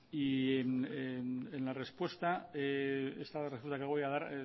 y en la respuesta esta la respuesta que voy a dar